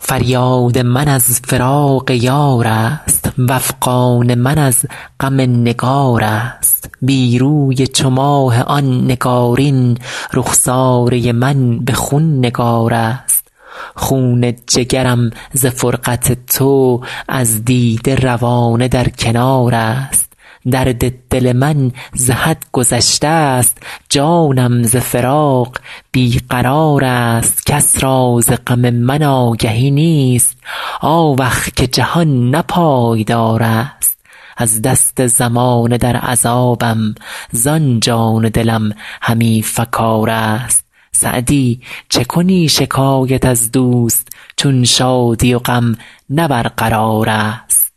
فریاد من از فراق یار است وافغان من از غم نگار است بی روی چو ماه آن نگارین رخساره من به خون نگار است خون جگرم ز فرقت تو از دیده روانه در کنار است درد دل من ز حد گذشته ست جانم ز فراق بی قرار است کس را ز غم من آگهی نیست آوخ که جهان نه پایدار است از دست زمانه در عذابم زان جان و دلم همی فکار است سعدی چه کنی شکایت از دوست چون شادی و غم نه برقرار است